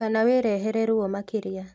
Kana wĩrehere ruo makĩria